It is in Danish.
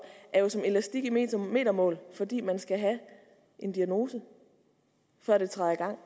som elastik i metermål metermål fordi man skal have en diagnose før den træder